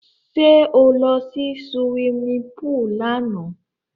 Sẹ́ ó lọ sí suwimi púùlù lánàá?